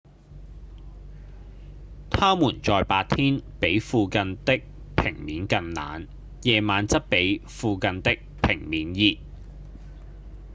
「它們在白天比附近的平面更冷夜晚則比附近的平面熱